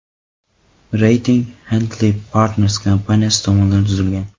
Reyting Henley & Partners kompaniyasi tomonidan tuzilgan.